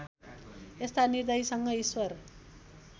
यस्ता निर्दयीसँग ईश्वर